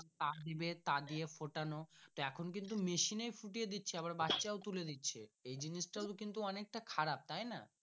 টা দিবে তা দিয়ে ফোটানো এখন কিন্তু মেশিন এ ফুটিয়ে দিচ্ছে আবার বাচ্চা ও তুলে দিচ্ছে এই জিনিস টা অনেক টা খারাপ তাই না।